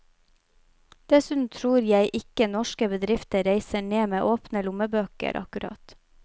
Dessuten tror jeg ikke norske bedrifter reiser ned med åpne lommebøker akkurat.